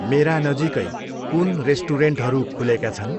मेरा नजिकै कुन रेस्टुरेन्टहरू खुलेका छन्?